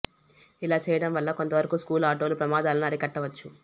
ఇలా చేయడం వల్ల కొంత వరకు స్కూలు ఆటోల ప్రమాదాలను అరికట్టవచ్చు